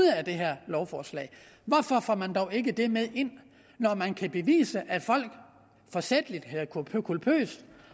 af det her lovforslag hvorfor får man dog ikke det med ind når man kan bevise at folk forsætligt eller culpøst